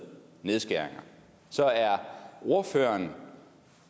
nedskæringer så er ordføreren